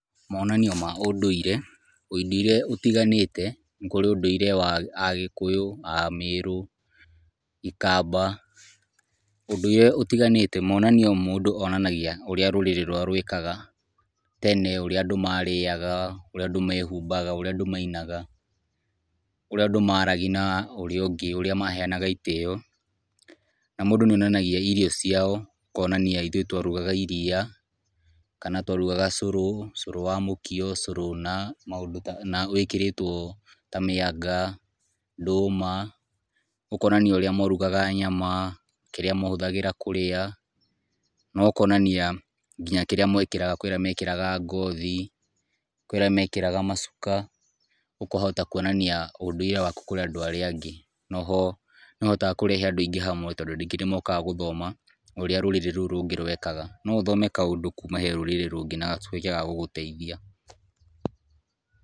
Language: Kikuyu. Monanio ma ũndũire, ũndũire ũtiganĩte nĩkũrĩ ũndũire wa agĩkũyũ, amĩrũ, ikamba ,ũndũire ũtiganĩte monanio mũndũ monanagia urĩa rũrĩrĩ rwao rwekaga tene , ũrĩa marĩaga, ũrĩa andũ mehubaga, ũrĩa andũ mainaga , ũrĩa andũ maragia na ũria ũngĩ, ũrĩa maheanga itĩo , na mũndũ nĩ onanagia irio ciao, ũkonanania ithuĩ twarugaga iria, kana twarũgaga cũrũ, cũrũ wa mũkio, cũrũ na wĩkĩrĩtwo maũndũ ta mĩanga, ndũma , ũkonanania ũrĩa marugaga nyama, kĩrĩa mahũthagĩra kũrĩa ,na ũkonania nginya kĩrĩa mwekagĩra ,kũrĩ angĩ mekĩraga ngothi, kũrĩ arĩa mekĩraga macuka, ũkahota kuonania ũndũire waku kũrĩ andũ arĩa angĩ, no ho nĩ ũhotaga kũrehe andũ aingĩ hamwe , tondũ andũ aingĩ nĩ mahotaga gũka makahota gũthoma ũrĩa rũrĩrĩ rũu rũngĩ rwekaga, no ũhote gũthoma kaũndũ kuma rũrĩrĩ rũngĩ na kahote ga gũgũteithia.